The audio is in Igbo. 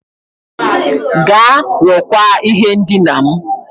Gaa rụkwaa ihe ndina m.